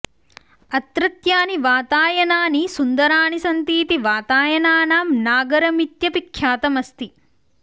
अत्रत्यानि वातायनानि सुन्दराणि सन्तीति वातायनानां नागरमित्यपि ख्यातम् अस्ति